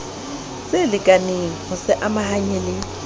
tselekaneng ho se amahanya le